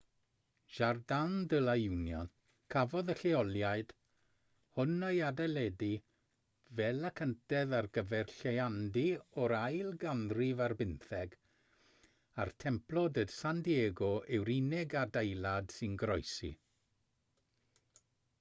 jardin de la unión cafodd y lleoliad hwn ei adeiladu fel y cyntedd ar gyfer lleiandy o'r ail ganrif ar bymtheg a'r templo de san diego yw'r unig adeilad sy'n goroesi